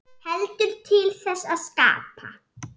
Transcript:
Heldur til þess að skapa.